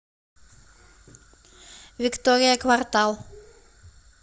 виктория квартал